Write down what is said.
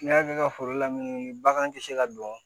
N'i y'a kɛ ka foro lamini bagan ti se ka don